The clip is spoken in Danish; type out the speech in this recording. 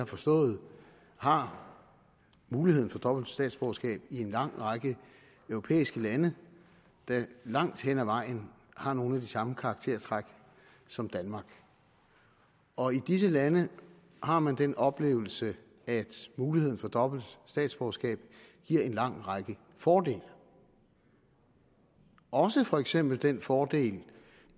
forstået har muligheden for dobbelt statsborgerskab i en lang række europæiske lande der langt hen ad vejen har nogle af de samme karaktertræk som danmark og i disse lande har man den oplevelse at muligheden for dobbelt statsborgerskab giver en lang række fordele også for eksempel den fordel